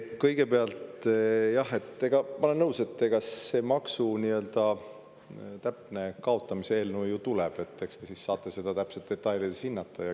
Kõigepealt, jah, ma olen nõus, see maksu nii-öelda täpse kaotamise eelnõu ju tuleb, siis te saate seda detailides hinnata.